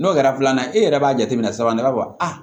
N'o kɛra filanan e yɛrɛ b'a jateminɛ sisan ne b'a fɔ aa